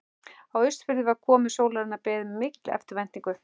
Á Austurfirði var komu sólarinnar beðið með mikilli eftirvæntingu.